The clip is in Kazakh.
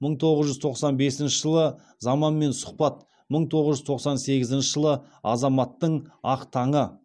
мың тоғыз жүз тоқсан бесінші жылы заманмен сұхбат мың тоғыз жүз тоқсан сегізінші жылы азаматтың ақ таңы